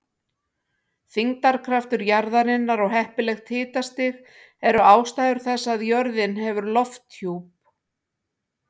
Þyngdarkraftur jarðarinnar og heppilegt hitastig eru ástæður þess að jörðin hefur lofthjúp.